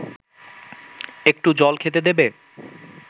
একটু জল খেতে দেবে